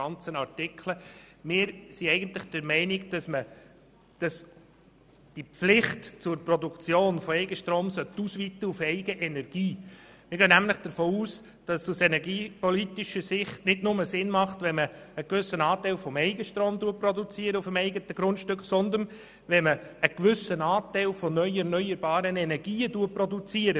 Aus energiepolitischer Sicht macht es nicht nur Sinn, auf dem eigenen Grundstück einen gewissen Anteil des Eigenstroms zu produzieren, sondern für sich selber einen gewissen Anteil an neuen erneuerbaren Energien zu produzieren.